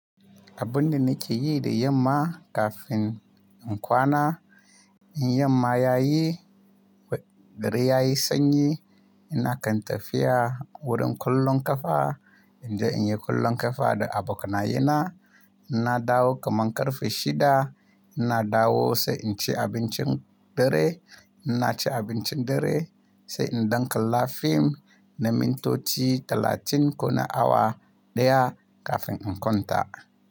Abin da nake yi da yamma kafin in kwana, in yamma yayi, dare ya yi sanyi. Ina kan tafiya wurin kallon kafa, inje in yi kallon ƙafa da abokanaye na. In na dawo kaman ƙarfe shida. Ina dawo sai in ci abincin dare. In na ci abincin dare sai in ɗan kalla fim na mintoci talatin ko na awa ɗaya kafin in kwanta.